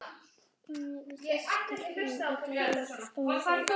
við þessar miklu sviptingar í dýraríkinu sköpuðust aðstæður fyrir nýjar tegundir